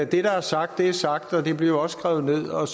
der er sagt er sagt og det bliver også skrevet ned og